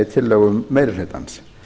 tillögum meiri hlutans